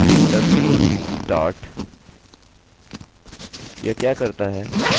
जैसा कि आपने एक मिनट पहले देखा था ob underscore start